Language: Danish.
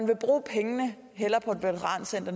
vil bruge pengene